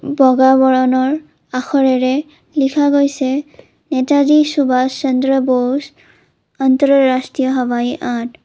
বগা বৰণৰ আখৰেৰে লিখা গৈছে নেতাজী সুভাষ চন্দ্ৰ বৌচ অন্ত্ৰৰাষ্ট্ৰীয় হবাই আদ।